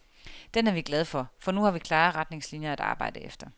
Den er vi glad for, for nu har vi klare retningslinier at arbejde efter.